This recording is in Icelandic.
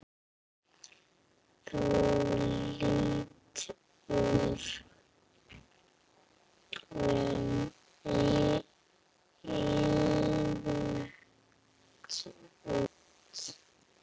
Þú lítur illa út